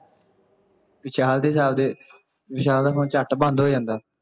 ਵਿਸ਼ਾਲ ਦੇ ਵਿਸ਼ਾਲ ਦਾ ਫੋਨ ਝੱਟ ਬੰਦ ਹੋ ਜਾਂਦਾ